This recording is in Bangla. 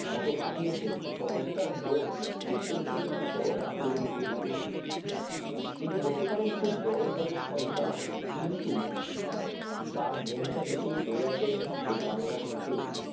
বছরের জন্য কাটিয়েছে তখন তার মন দেশের জন্য মন চরম আকুলি বিকলি করছিল তিনি হতে পারেন খুব বড় ঘরের সন্তান কিন্তু তার মনটা পড়ে আছে সেই তো বাংলার বুকেই